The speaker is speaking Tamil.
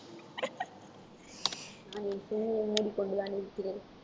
மூடிக்கொண்டுதான் இருக்கிறேன்